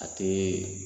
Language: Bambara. A tɛ